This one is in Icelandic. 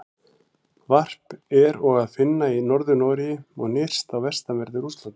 Varp er og að finna í Norður-Noregi og nyrst á vestanverðu Rússlandi.